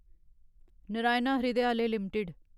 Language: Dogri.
नारायण हृदयालय लिमिटेड